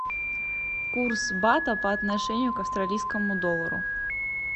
курс бата по отношению к австралийскому доллару